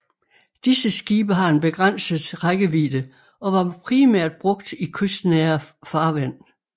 Disse skibe har en begrænset rækkevidde og var primært brugt i kystnære farvand